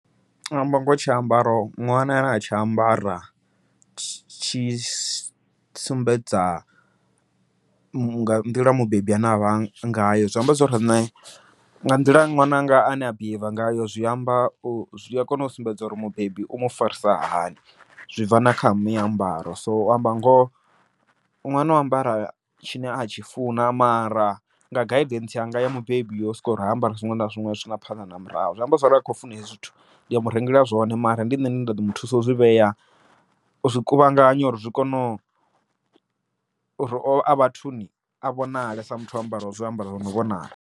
U amba ngoho tshiambaro ṅwana ane atshi ambara tshi sumbedza nga nḓila mubebi ane avha ngayo, zwi amba zwori nṋe nga nḓila ṅwananga ane a behaviour ngayo zwi amba zwi a kona u sumbedza uri mubebi u mufarisa hani. Zwi bva na kha mi ambaro, so u amba ngoho ṅwana u ambara tshine atshi funa mara nga guidance yanga ya mubebi yo sokori ha ambari zwiṅwe na zwiṅwe zwi sina phanḓa na murahu, zwi amba zwori a kho funa hezwi zwithu ndi a murengela zwone mara ndi nṋe ane nda ḓo mu thuso u zwivhea, u zwi kuvhanganya uri zwi kone uri a vhathuni a vhonale sa muthu o ambara zwiambaro zwi no vhonala.